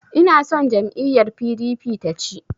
Inason jam'iyyar PDP ta ci.